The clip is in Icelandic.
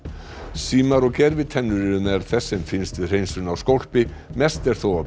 símar og gervitennur eru meðal þess sem finnst við hreinsun á skólpi mest er þó af